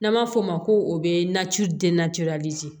N'an b'a fɔ o ma ko o nacilajo